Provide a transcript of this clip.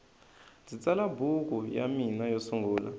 ndzi tsala buku ya mina yo sungula